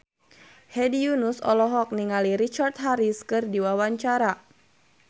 Hedi Yunus olohok ningali Richard Harris keur diwawancara